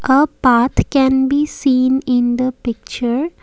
a path can be seen in the picture.